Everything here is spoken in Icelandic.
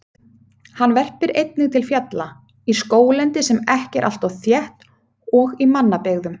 Hann verpir einnig til fjalla, í skóglendi sem ekki er alltof þétt og í mannabyggðum.